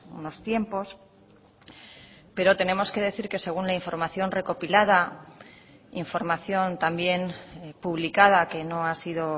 unos tiempos pero tenemos que decir que según la información recopilada información también publicada que no ha sido